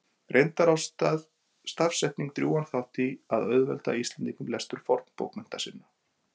Reyndar á stafsetning drjúgan þátt í að auðvelda Íslendingum lestur fornbókmennta sinna.